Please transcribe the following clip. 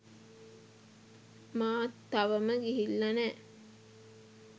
මාත් තවම ගිහිල්ල නෑ.